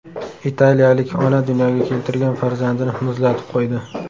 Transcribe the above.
Italiyalik ona dunyoga keltirgan farzandini muzlatib qo‘ydi.